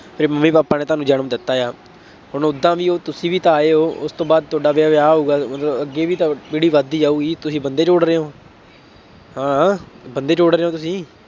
ਤੇਰੇ mummy papa ਨੇ ਤੁਹਾਨੂੰ ਜਨਮ ਦਿੱਤਾ ਹੈ, ਹੁਣ ਉਦਾਂ ਵੀ ਉਹ ਤੁਸੀਂ ਵੀ ਤਾਂ ਆਏ ਹੋ ਉਸ ਤੋਂ ਬਾਅਦ ਤੁਹਾਡਾ ਵਿਆਹ ਹੋਊਗਾ ਮਤਲਬ ਅੱਗੇ ਵੀ ਤਾਂ ਪੀੜੀ ਵੱਧਦੀ ਜਾਊਗੀ, ਤੁਸੀਂ ਬੰਦੇ ਜੋੜ ਰਹੇ ਹੋ। ਹਾਂ ਬੰਦੇ ਜੋੜ ਰਹੇ ਹੋ ਤੁਸੀਂ।